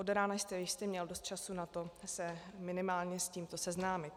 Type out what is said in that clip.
Od rána jste jistě měl dost času na to se minimálně s tímto seznámit.